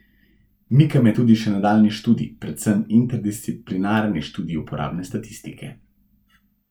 Mika me tudi še nadaljnji študij, predvsem interdisciplinarni študij uporabne statistike.